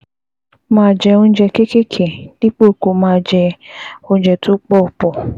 Máa jẹ oúnjẹ kéékèèké dípò kó o máa jẹ oúnjẹ tó pọ̀ pọ̀